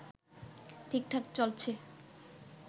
ঠিকঠাক চলছে